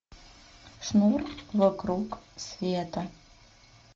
шнур вокруг света